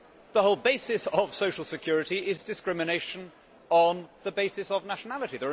The whole basis of social security is discrimination on the basis of nationality.